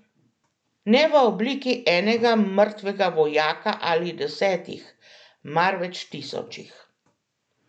Ne v obliki enega mrtvega vojaka ali desetih, marveč tisočih.